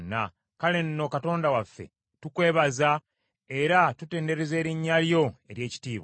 Kale nno, Katonda waffe, tukwebaza era tutendereza erinnya lyo ery’ekitiibwa.